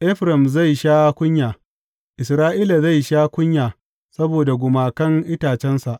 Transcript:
Efraim zai sha kunya; Isra’ila zai sha kunya saboda gumakan itacensa.